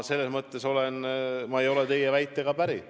Ma ei ole teie väitega päri.